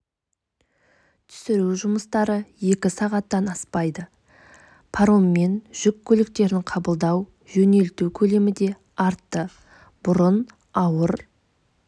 түсіру жұмыстары екі сағаттан аспайды пароммен жүк көліктерін қабылдау жөнелту көлемі де артты бұрын ауыр